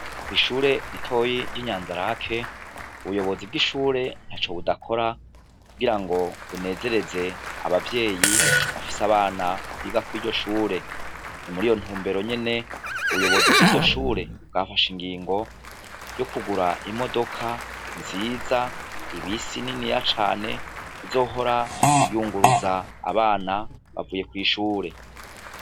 Kw'ishure ritoyi ry'inyanzarake , ubuyobozi bw'ishure ntaco budakora kugira ngo bunezereze abavyeyi bafise abana biga kuri iryo shure, muriyo ntumbero nyene ubuyobozi bw'iryo shure bwafashe ingingo yo kugura imodoka nziza, ibisi niniya cane izohora yunguruza abana bavuye kw'ishure.